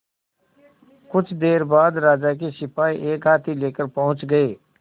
कुछ देर बाद राजा के सिपाही एक हाथी लेकर पहुंच गए